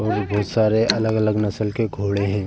और भी बहुत सारे अलग अलग नसल के घोड़े हैं।